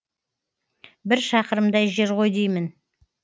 бір шақырымдай жер ғой деймін